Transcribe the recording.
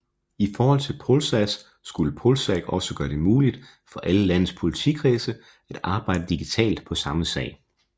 I forhold til Polsas skulle Polsag også gøre det muligt for alle landets politikredse at arbejde digitalt på samme sag